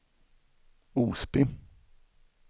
Osby